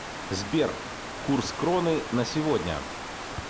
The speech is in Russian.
сбер курс кроны на сегодня